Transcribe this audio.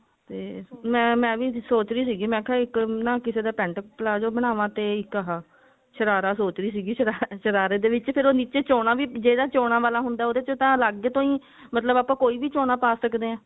ਤੇ ਮੈਂ ਮੈਂ ਵੀ ਸੋਚ ਰਹੀ ਸੀਗੀ ਮੈਂ ਕਿਹਾ ਇੱਕ ਨਾ ਕਿਸੇ ਦਾ pent palazzo ਬਣਾਵਾ ਇੱਕ ਆਹ ਸ਼ਰਾਰਾ ਸੋਚ ਰਹੀ ਸੀਗੀ ਸ਼ਰਾਰਾ ਸ਼ਰਾਰੇ ਦੇ ਵਿੱਚ ਨਿੱਚੇ ਉਹ ਚੋਣਾ ਵਾਲਾ ਹੁੰਦਾ ਉਹਦੇ ਚ ਤਾਂ ਅੱਲਗ ਤੋਂ ਹੀ ਮਤਲਬ ਆਪਾਂ ਕੋਈ ਵੀ ਚੋਣਾ ਪਾ ਸੱਕਦੇ ਹਾਂ